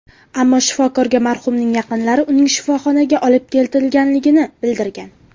Ammo shifokorga marhumning yaqinlari uning shifoxonaga olib ketilganligini bildirgan.